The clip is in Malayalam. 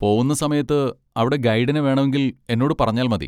പോവുന്ന സമയത്ത് അവിടെ ഗൈഡിനെ വേണമെങ്കിൽ എന്നോട് പറഞ്ഞാൽ മതി.